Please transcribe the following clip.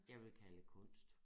Jeg ville kalde det kunst